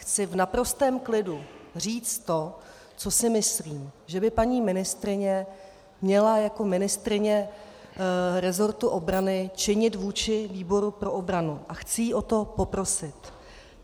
Chci v naprostém klidu říct to, co si myslím, že by paní ministryně měla jako ministryně resortu obrany činit vůči výboru pro obranu, a chci ji o to poprosit.